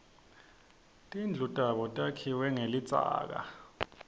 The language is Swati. tindlu tabo takhiwe nqelidzaka